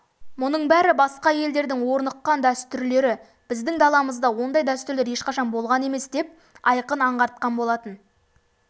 мұның бәрі басқа елдердің орныққан дәстүрлері біздің даламызда ондай дәстүрлер ешқашан болған емес деп айқын аңғартқан болатын